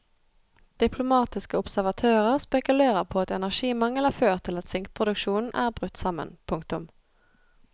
Diplomatiske observatører spekulerer på at energimangel har ført til at sinkproduksjonen er brutt sammen. punktum